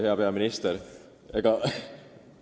Hea peaminister!